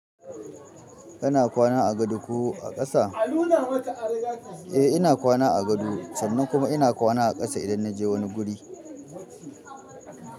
Kana kwana a gado ko a ƙasa? Eh ina kwana a gado sannan kuma ina kwana a ƙasa idan na je wani guri.